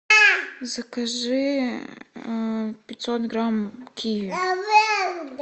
закажи пятьсот грамм киви